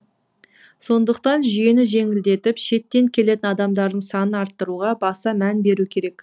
сондықтан жүйені жеңілдетіп шеттен келетін адамдардың санын арттыруға баса мән беру керек